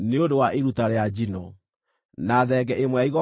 na thenge ĩmwe ya igongona rĩa kũhoroherio mehia;